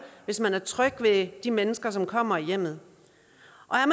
hvis man er tryg ved de mennesker som kommer i hjemmet